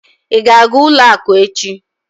Ị ga-aga ụlọakụ echi?